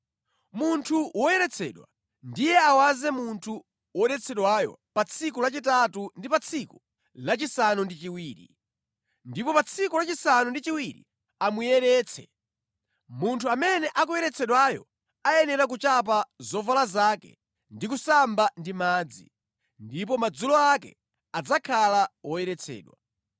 Munthu woyeretsedwa ndiye awaze munthu wodetsedwayo pa tsiku lachitatu ndi pa tsiku lachisanu ndi chiwiri, ndipo pa tsiku lachisanu ndi chiwiri amuyeretse. Munthu amene akuyeretsedwayo ayenera kuchapa zovala zake ndi kusamba ndi madzi, ndipo madzulo ake adzakhala woyeretsedwa.